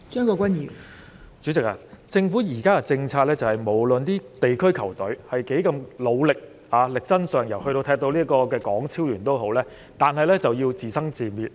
代理主席，根據政府現時的政策，無論區隊如何努力或力爭上游，即使球隊能夠參加港超聯賽事，他們仍然要自生自滅。